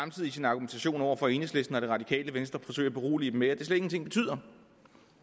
i sin argumentation over for enhedslisten og det radikale venstre forsøge at berolige dem med at det slet ingenting betyder